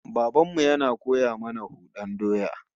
Baban mu yana koya mana hudan doya